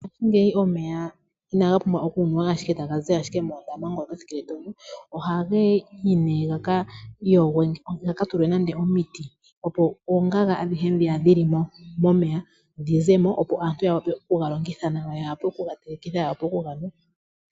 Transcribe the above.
Ngaashingeyi omeya inaga pumbwa owala okunuwa taga zi moondaama, ohaga ka tulwa omiti, opo oongaga adhihe ndhoka dhi li mo dhi ze mo, opo aantu ya wape okuga longitha nawa, ya wape okuga telekitha noku ga nwa.